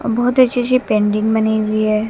बहोत अच्छी अच्छी पेंटिंग बनी हुई है।